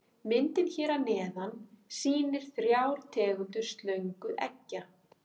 Myndin hér að neðan sýnir þrjár tegundir slöngueggja.